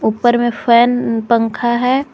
ऊपर में फैन पंखा है।